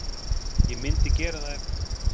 Ég myndi gera það ef.